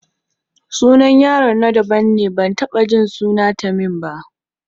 Sunan yaron na daban ne, ban taɓa jin sunan Tamim ba.